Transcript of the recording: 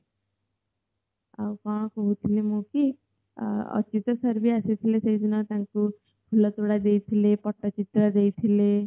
ଆଉ କଣ କହୁଥିଲି ମୁଁ କି ଅଃ ଅଚ୍ୟୁତ sir ଭି ଆସିଥିଲେ ସେଇ ଦିନ ତାଙ୍କୁ ଫୁଲ ତୋଡା ଦେଇଥିଲେ ପଟ୍ଟଚିତ୍ର ଦେଇଥିଲେ